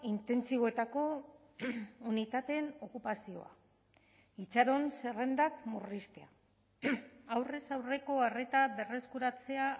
intentsiboetako unitateen okupazioa itxaron zerrendak murriztea aurrez aurreko arreta berreskuratzea